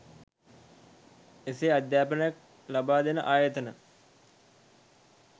එසේ අධ්‍යාපනයක් ලබා දෙන ආයතන